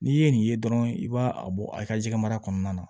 N'i ye nin ye dɔrɔn i b'a a bɔ a ka jɛgɛ mara kɔnɔna na